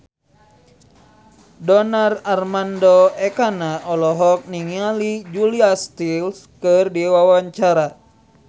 Donar Armando Ekana olohok ningali Julia Stiles keur diwawancara